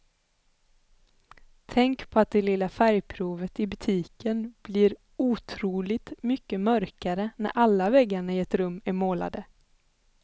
Tänk på att det lilla färgprovet i butiken blir otroligt mycket mörkare när alla väggarna i ett rum är målade.